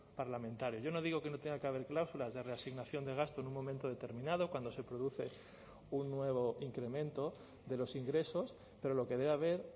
parlamentario yo no digo que no tenga que haber cláusulas de reasignación de gasto en un momento determinado cuando se produce un nuevo incremento de los ingresos pero lo que debe haber